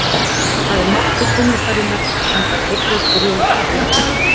Það er máttur tónlistarinnar, hann gat heillað grjót, tré og dýr.